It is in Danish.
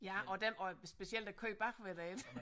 Ja og dem og specielt i køen bagved dig ik